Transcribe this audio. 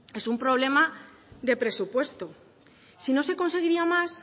es un problema de presupuesto si no se conseguiría más